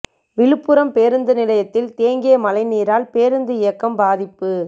விழுப்புரம் பேருந்து நிலையத்தில் தேங்கிய மழை நீரால் பேருந்து இயக்கம் பாதிப்பு